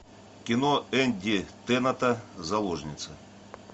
кино энди теннанта заложница